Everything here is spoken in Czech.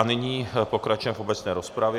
A nyní pokračujeme v obecné rozpravě.